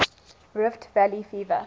rift valley fever